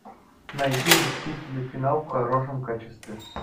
найди мстители финал в хорошем качестве